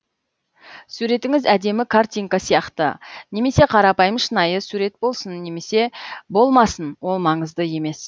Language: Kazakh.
суретіңіз әдемі картинка сияқты немесе қарапайым шынайы сурет болсын немесе болмасын ол маңызды емес